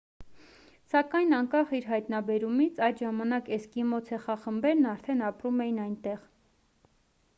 սակայն անկախ իր հայտնաբերումից այդ ժամանակ էսկիմո ցեղախմբերն արդեն ապրում էին այնտեղ